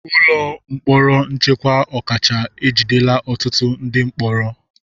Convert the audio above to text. Ụlọ mkpọrọ nchekwa ọkacha ejidela ọtụtụ ndị mkpọrọ.